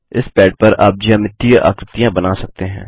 इस पैड पर आप ज्यामितीय आकृतियाँ बना सकते हैं